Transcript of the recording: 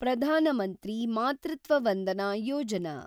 Pradhan Mantri Matritva Vandana Yojana